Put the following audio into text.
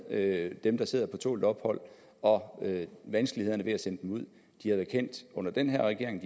med dem der sidder på tålt ophold og vanskelighederne ved at sende dem ud er kendt under den her regering